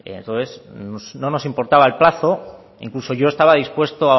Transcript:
entonces no nos importaba el plazo e incluso yo estaba dispuesto